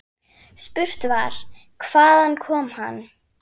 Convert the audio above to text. Spurt var: Hvaðan kom hann.